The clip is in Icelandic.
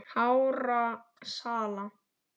hárra sala.